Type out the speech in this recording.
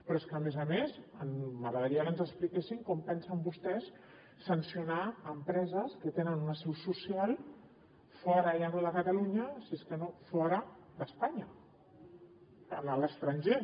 però és que a més a més m’agradaria que ens expliquessin com pensen vostès sancionar empreses que tenen una seu social fora ja no de catalunya si és que no fora d’espanya a l’estranger